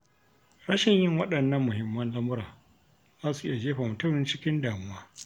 Rashin yin waɗannan muhimman lamura, za su iya jefa mutum cikin damuwa.